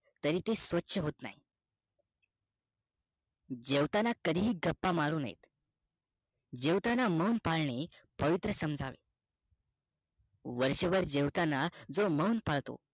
तरी ते स्वछ होत नाही जेवताना कदिही गप्पा मारू नये जेवताना मोन पाळणे पवित्र समजावे वर्ष भर जेवताना जो मौन पाळतो